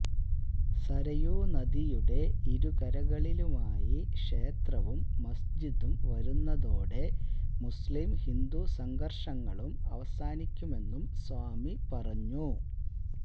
സരയൂ നദിയുടെ ഇരുകരകളിലുമായി ക്ഷേത്രവും മസ്ജിദും വരുന്നതോടെ മുസ്ലീം ഹിന്ദു സംഘര്ഷങ്ങളും അവസാനിക്കുമെന്നും സ്വാമി പറഞ്ഞു